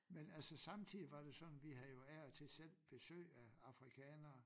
Men altså samtidigt var det jo sådan vi havde jo af og til selv besøg af Afrikanere